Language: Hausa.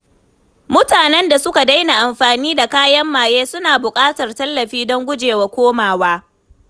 Mutanen da suka daina amfani da kayan maye suna buƙatar tallafi don gujewa komawa.